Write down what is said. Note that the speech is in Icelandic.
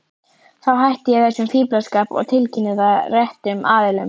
Þá hætti ég þessum fíflaskap og tilkynnti það réttum aðilum.